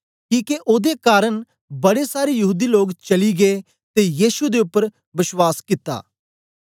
किके ओदे कारन बड़े सारे यहूदी लोग चली गै ते यीशु दे उपर बश्वास कित्ता